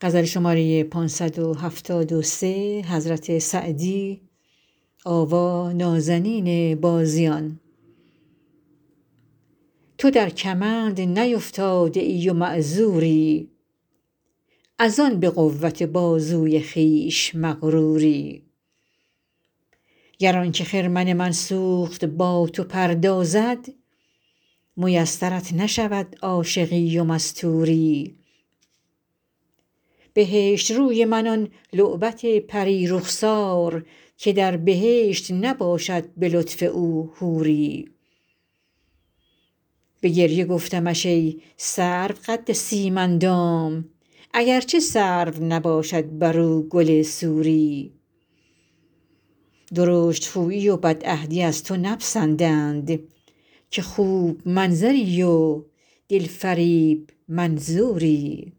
تو در کمند نیفتاده ای و معذوری از آن به قوت بازوی خویش مغروری گر آن که خرمن من سوخت با تو پردازد میسرت نشود عاشقی و مستوری بهشت روی من آن لعبت پری رخسار که در بهشت نباشد به لطف او حوری به گریه گفتمش ای سرو قد سیم اندام اگر چه سرو نباشد بر او گل سوری درشت خویی و بدعهدی از تو نپسندند که خوب منظری و دل فریب منظوری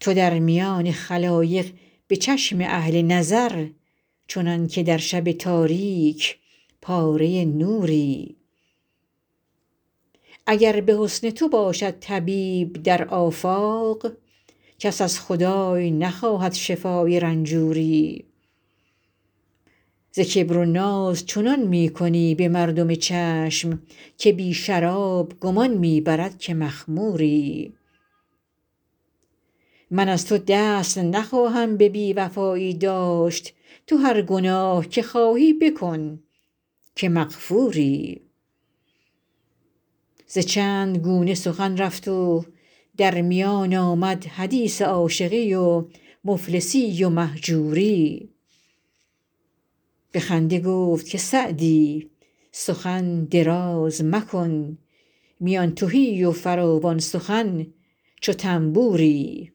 تو در میان خلایق به چشم اهل نظر چنان که در شب تاریک پاره نوری اگر به حسن تو باشد طبیب در آفاق کس از خدای نخواهد شفای رنجوری ز کبر و ناز چنان می کنی به مردم چشم که بی شراب گمان می برد که مخموری من از تو دست نخواهم به بی وفایی داشت تو هر گناه که خواهی بکن که مغفوری ز چند گونه سخن رفت و در میان آمد حدیث عاشقی و مفلسی و مهجوری به خنده گفت که سعدی سخن دراز مکن میان تهی و فراوان سخن چو طنبوری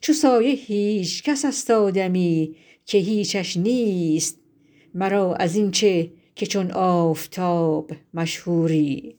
چو سایه هیچ کس است آدمی که هیچش نیست مرا از این چه که چون آفتاب مشهوری